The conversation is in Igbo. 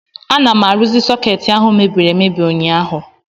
Ana m arụzi sọkeetị ahụ mebiri emebi ụnyaahụ